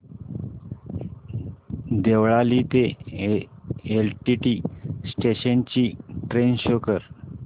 देवळाली ते LTT station ची train show कर